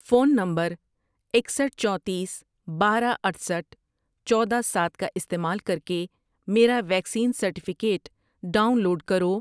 phone number اکسٹھ ،چونتیس، بارہ، اٹھسٹھ ،چودہ، سات کا استعمال کر کے میرا ویکسین سرٹیفکیٹ ڈاؤن لوڈ کرو